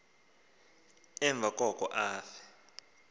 emva koko afe